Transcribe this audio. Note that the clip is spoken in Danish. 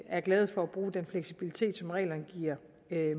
er glade for at bruge den fleksibilitet som reglerne giver